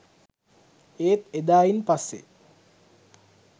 ඒත් එදායින් පස්සේ